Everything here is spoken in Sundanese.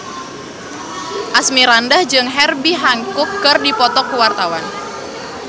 Asmirandah jeung Herbie Hancock keur dipoto ku wartawan